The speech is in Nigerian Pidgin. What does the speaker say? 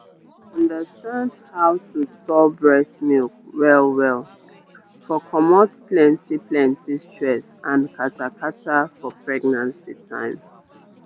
to understand how to store breast milk well well for comot plenty plenty stress and kata kata for pregnancy time.